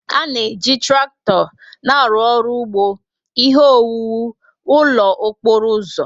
A na-eji traktọ na-arụ ọrụ ugbo, ihe owuwu, ụlọ okporo ụzọ